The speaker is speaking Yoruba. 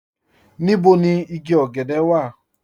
Níbò ni ìgí ògẹ̀dẹ̀ wà?